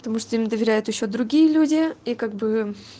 потому что им доверяют ещё другие люди и как бы